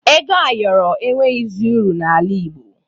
Ego ayọrọ enweghizi uru n'ala Igbo